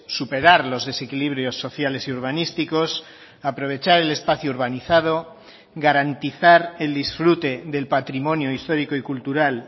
superar los desequilibrios sociales y urbanísticos aprovechar el espacio urbanizado garantizar el disfrute del patrimonio histórico y cultural